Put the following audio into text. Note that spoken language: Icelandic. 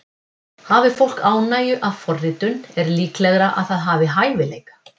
Hafi fólk ánægju af forritun er líklegra að það hafi hæfileika.